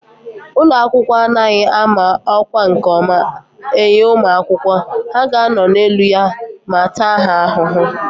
Ụlọ akwụkwọ a anaghị ámá ọkwá nke ọma enye ụmụ akwụkwọ, ha ga anọ n'elu ya ma taa ha ahụhụ